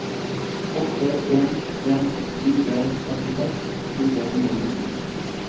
åtte en en fire førtiseks fire hundre og nitten